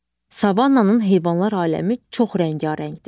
Savannanın heyvanlar aləmi çox rəngarəngdir.